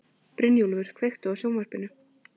Brynjúlfur, kveiktu á sjónvarpinu.